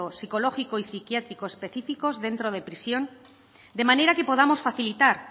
psicológico y psiquiátrico específicos dentro de prisión de manera que podamos facilitar